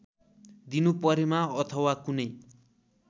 दिनुपरेमा अथवा कुनै